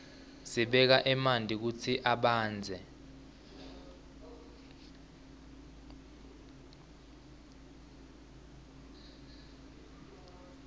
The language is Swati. sibeka manti kutsi abandze